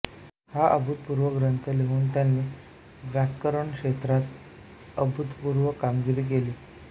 हा अभूतपूर्व ग्रंथ लिहून त्यांनी व्याकरणक्षेत्रात अभूतपूर्व कामगिरी केली